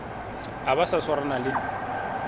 a ba a swarana le